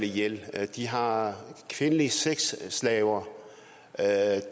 ihjel de har kvindelige sexslaver